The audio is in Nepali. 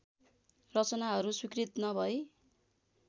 रचनाहरू स्वीकृत नभई